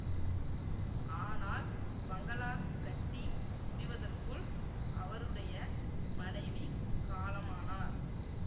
ஆனால் பங்களா கட்டி முடிவதற்குள் அவருடைய மனைவி காலமானார்